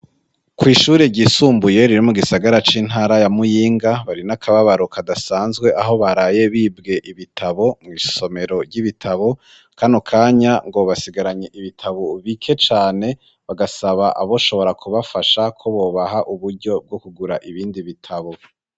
kw'ishuri ryisumbuye riri m gisagara c'intara ya Muyinga bari n'akababaro kadasanzwe, aho baraye bibwe ibitabo mw'isomero ry'ibitabo, kano kanya ngo basigaranye ibitabo bike cane, bagasaba abo shobora kubafasha ko bobaha uburyo bwo kugura ibindi bitabo.